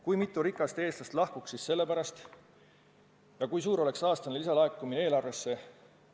Kui mitu rikast eestlast sellepärast Eestist lahkuks ja kui suur oleks aastane lisalaekumine eelarvesse?